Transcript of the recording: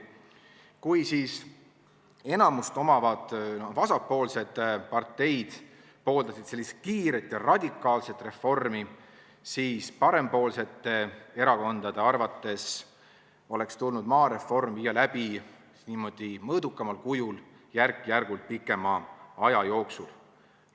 Kui siis enamust omavad vasakpoolsed parteid pooldasid sellist kiiret ja radikaalset reformi, siis parempoolsete erakondade arvates oleks tulnud maareform viia läbi mõõdukamal kujul, järk-järgult pikema aja jooksul.